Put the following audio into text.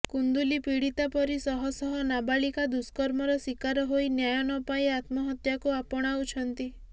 କୁନ୍ଦୁଲୀ ପୀଡିତା ପରି ଶହ ଶହ ନାବାଳିକା ଦୁର୍ଷ୍କମର ଶିକାର ହୋଇ ନ୍ୟାୟ ନପାଇ ଆତ୍ମହତ୍ୟାକୁ ଆପଣାଉଛନ୍ତି